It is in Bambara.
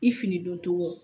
I fini don togo